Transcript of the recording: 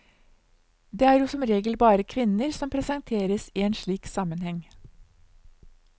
Det er jo som regel bare kvinner som presenteres i en slik sammenheng.